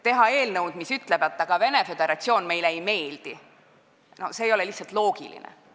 Teha eelnõu, mis ütleb, et Venemaa Föderatsioon meile ei meeldi – see ei ole lihtsalt loogiline.